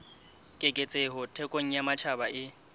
keketseho thekong ya matjhaba e